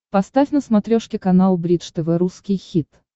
поставь на смотрешке канал бридж тв русский хит